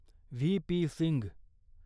VP. Singh